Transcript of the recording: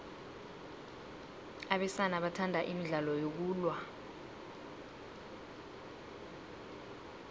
abesana bathanda imidlalo yokulwa